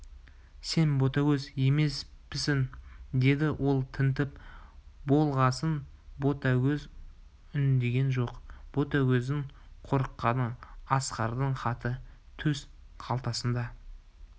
сен ботагөз емеспісің деді ол тінтіп болғасын ботагөз үндеген жоқ ботагөздің қорыққаны асқардың хаты төс қалтасында